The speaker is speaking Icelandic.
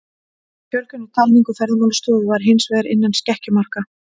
Fjölgun í talningu Ferðamálastofu var hins vegar innan skekkjumarka.